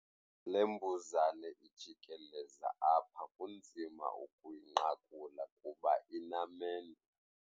Le mbuzane ijikeleza apha kunzima ukuyinqakula kuba inamendu.